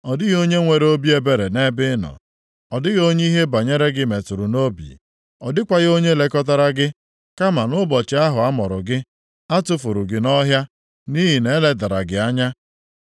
Ọ dịghị onye nwere obi ebere nʼebe ị nọ. Ọ dịghị onye ihe banyere gị metụrụ nʼobi, ọ dịkwaghị onye lekọtara gị. Kama nʼụbọchị ahụ a mụrụ gị a tufuru gị nʼọhịa, nʼihi na-eledara gị anya.